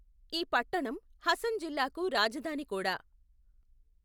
ఈ పట్టణం హసన్ జిల్లాకు రాజధాని కూడా.